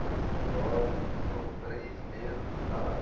Falei, esse relógio me custou três meses de salário.